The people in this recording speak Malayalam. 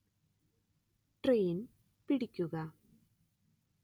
ട്രെയിന്‍ പിടിക്കുക